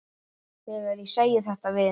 Þegar ég segi þetta við